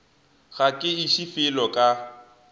ga ke iše felo ka